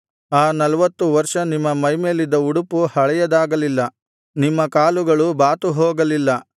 ಆ ನಲವತ್ತು ವರ್ಷ ನಿಮ್ಮ ಮೈಮೇಲಿದ್ದ ಉಡುಪು ಹಳೇಯದಾಗಲಿಲ್ಲ ನಿಮ್ಮ ಕಾಲುಗಳು ಬಾತುಹೋಗಲಿಲ್ಲ